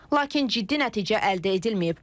Lakin ciddi nəticə əldə edilməyib.